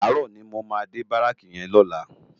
Àárò ni mó má dé báráki yèn lòlá